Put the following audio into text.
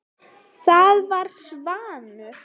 Það var Svanur.